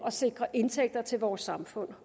at sikre indtægter til vores samfund